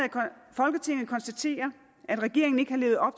folketinget konstaterer at regeringen ikke har levet op